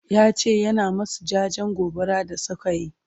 yace yana masu jajen gobaran da sukayi